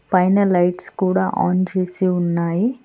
పైన లైట్స్ కూడా ఆన్ చేసి ఉన్నాయి.